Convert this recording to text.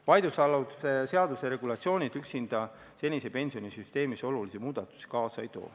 Vaidlusaluse seaduse regulatsioonid üksinda senises pensionisüsteemis olulisi muudatusi kaasa ei too.